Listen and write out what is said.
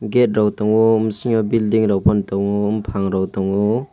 gate rok tongo bisingo building rok fano tongo bufang rok tongo.